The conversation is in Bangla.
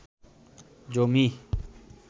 জমি